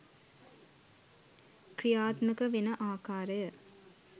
ක්‍රියාත්මක වෙන අකාරය